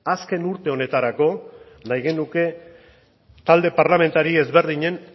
azken urte honetarako nahi genuke talde parlamentari ezberdinen